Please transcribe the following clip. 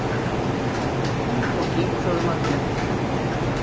Fýlupoki sögðu margir.